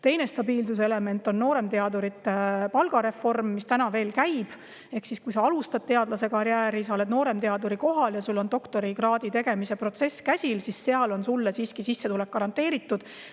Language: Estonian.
Teine stabiilsuse element on nooremteadurite palgareform, mis veel käib: kui sa alustad teadlaskarjääri, oled nooremteaduri kohal ja sul on doktorikraadi tegemine käsil, siis on sulle siiski sissetulek garanteeritud.